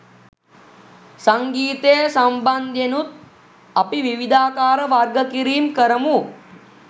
සංගීතය සම්බන්ධයෙනුත් අපි විවිධාකාර වර්ග කිරීම් කරමු